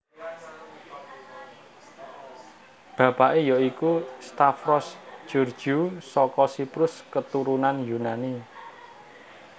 Bapake ya iku Stavros Georgiou saka Siprus keturunan Yunani